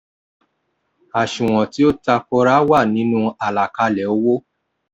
àṣùwọ̀n tí ó ta kora wà nínú àlàkalẹ̀ owó.